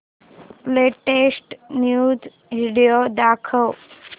latest news video दाखव